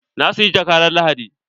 Na siyi jakka ran Lahadi.